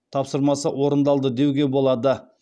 тапсырмасы орындалды деуге болады